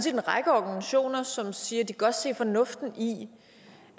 en række organisationer som siger at de godt kan se fornuften i